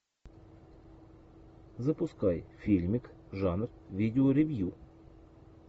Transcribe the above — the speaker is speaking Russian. запускай фильмик жанр видеоревью